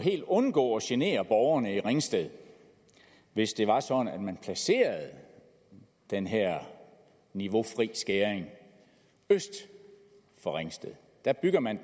undgå at genere borgerne i ringsted hvis det var sådan at man placerede den her niveaufri skæring øst for ringsted der vil man